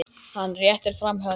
Hann réttir fram hönd.